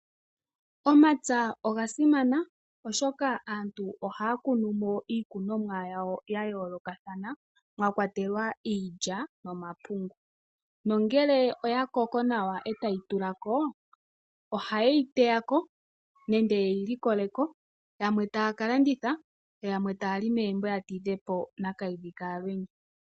Omapya oga simana oshoka aantu ohaya kunu mo iikunomwa yawo yayoolokathana mwakwatelwa iilya nomapungu. Nongele oya koko nawa etayi tulako, ohayeyi teyako nenge yeyi likoleko, yamwe taya kalanditha , yo yamwe taya li megumbo ya tidhepo Nakayidhi Kalwenya.